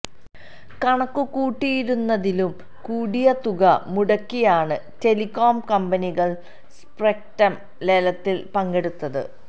കണക്കുകൂട്ടിയിരുന്നതിലും കൂടിയ തുക മുടക്കിയാണ് ടെലികോം കമ്പനികള് സ്പെക്ട്രം ലേലത്തില് പങ്കെടുത്തത്